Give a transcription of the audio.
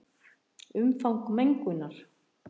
Umfang mengunar